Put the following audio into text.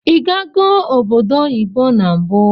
Igago obodo oyibo na mbu?